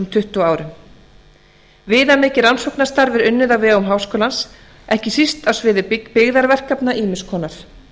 tuttugu árum viðamikið rannsóknarstarf er unnið á vegum háskólans ekki síst á sviði byggðarverkekefna ýmiss konar